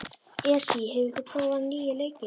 Esí, hefur þú prófað nýja leikinn?